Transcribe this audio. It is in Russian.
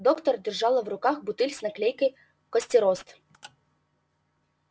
доктор держала в руках бутыль с наклейкой костерост